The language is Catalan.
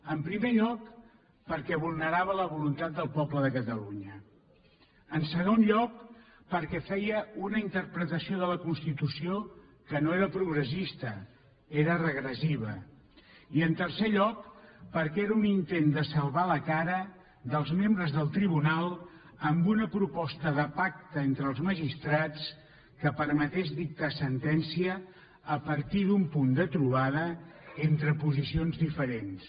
en primer lloc perquè vulnerava la voluntat del poble de catalunya en segon lloc perquè feia una interpretació de la constitució que no era progressista era regressiva i en tercer lloc perquè era un intent de salvar la cara dels membres del tribunal amb una proposta de pacte entre els magistrats que permetés dictar sentència a partir d’un punt de trobada entre posicions diferents